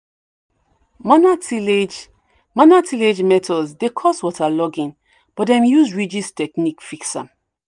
manual tillage manual tillage methods dey cause waterlogging but dem use ridge techniques fix am."